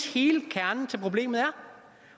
hele kernen i problemet er